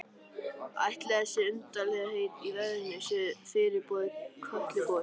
Ætli þessi undarlegheit í veðrinu séu fyrirboði Kötlugoss?